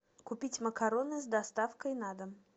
купить макароны с доставкой на дом